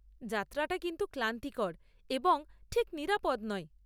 যাত্রাটা কিন্তু ক্লান্তিকর এবং ঠিক নিরাপদ নয়।